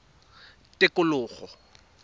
tikologo